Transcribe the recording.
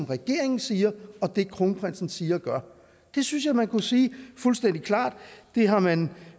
regeringen siger og det kronprinsen siger og gør det synes jeg man kunne sige fuldstændig klart det har man